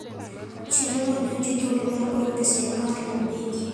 Chenrono miyo ji thuolo mar oro pesa e akaunt mag bengi.